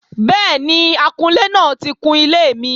Bẹ́ẹ̀ni, akunlé náà ti kun ilé mi